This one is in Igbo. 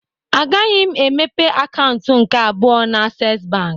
A gaghị m emepe akaụntụ nke abụọ na Asess bank